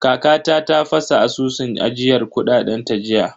Kakata ta fasa asusun ajiyar kuɗaɗen ta jiya.